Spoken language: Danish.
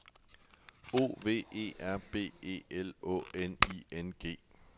O V E R B E L Å N I N G